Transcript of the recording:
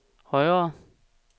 højere